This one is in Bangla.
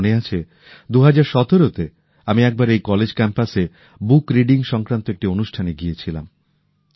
আমার মনে আছে ২০১৭ তে আমি একবার এই কলেজ ক্যাম্পাসে বুক রিডিং সংক্রান্ত একটি অনুষ্ঠানে গিয়েছিলাম